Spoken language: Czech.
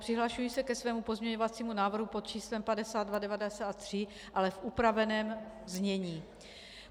Přihlašuji se ke svému pozměňovacímu návrh pod číslem 5293, ale v upraveném znění.